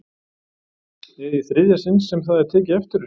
Eða í þriðja sinn sem það er tekið eftir þessu?